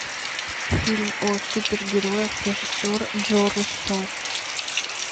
фильм о супергероях режиссер джо руссо